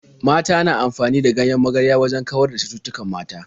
Mata na amfani da ganyen magarya wajen kawar da cututtukan mata.